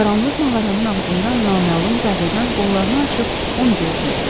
Qaranlıq mağaranın ağzında naməlum zadəgan qollarını açıb onu gözləyirdi.